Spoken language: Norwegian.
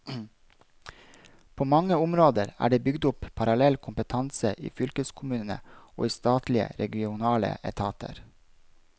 På mange områder er det bygd opp parallell kompetanse i fylkeskommunene og i statlige regionale etater.